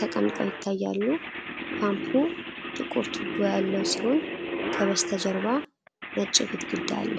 ተቀምጠው ይታያሉ። ፓምፑ ጥቁር ቱቦ ያለው ሲሆን ከበስተጀርባ ነጭ ግድግዳ አለ።